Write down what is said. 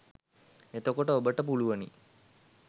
එතකොට ඔබට පුළුවනි